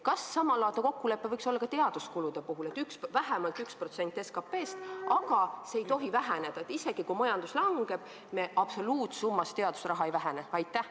Kas samalaadne kokkulepe võiks olla ka teaduskulude puhul, et vähemalt 1% SKT-st ja see ei tohi väheneda, st isegi siis, kui majandus langeb, me teadusraha absoluutsummat ei vähenda?